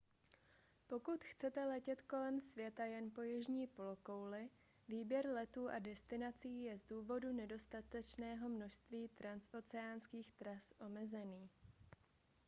pokud chcete letět kolem světa jen po jižní polokouli výběr letů a destinací je z důvodu nedostatečného množství transoceánských tras omezený